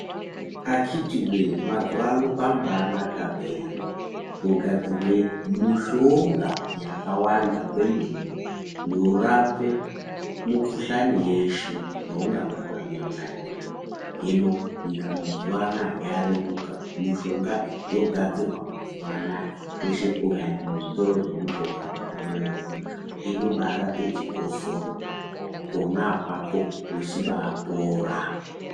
Akhiti voye mazuva ano kwambanaka peya kogadzirwe mushonga yakawanda kwemene. Yorape mikuhlani yeshe youngabatwa ndiyona iveve. Hino nyika mazuva anaya yareruka mushonga yogadzirwa mazuva anaya kweshe ukaende muzvitoro zvemushonga unobaiona. Inobarape chikosoro pona apapo vechibapora.